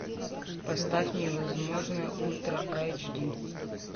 поставь невозможное ультра эйч ди